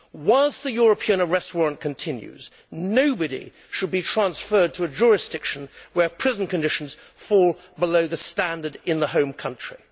Whilst the European arrest warrant continues, nobody should be transferred to a jurisdiction where prison conditions fall below the standard in the home country.